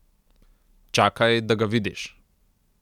Čakaj, da ga vidiš.